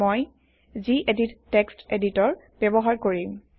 মই জিএদিত তেক্সত এডিটৰ ব্যৱহাৰ কৰিম